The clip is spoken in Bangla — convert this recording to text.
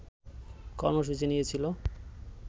কর্মসূচি নিয়েছিল